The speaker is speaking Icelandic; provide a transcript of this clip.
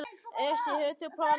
Esí, hefur þú prófað nýja leikinn?